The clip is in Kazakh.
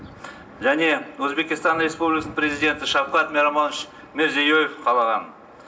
және өзбекстан республикасының президенті шавкат миромонович мирзиёев қалаған